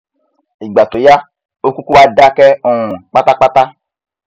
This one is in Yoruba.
ìgbà tó yá ó kúkú wá dákẹ um pátápátá